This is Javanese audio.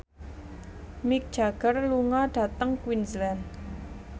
Mick Jagger lunga dhateng Queensland